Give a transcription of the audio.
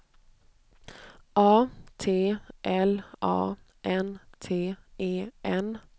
A T L A N T E N